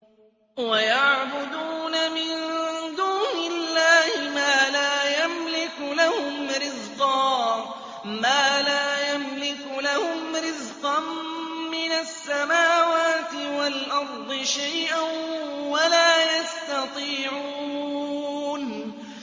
وَيَعْبُدُونَ مِن دُونِ اللَّهِ مَا لَا يَمْلِكُ لَهُمْ رِزْقًا مِّنَ السَّمَاوَاتِ وَالْأَرْضِ شَيْئًا وَلَا يَسْتَطِيعُونَ